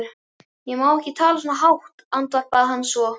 Ég má ekki tala svona hátt, andvarpaði hann svo.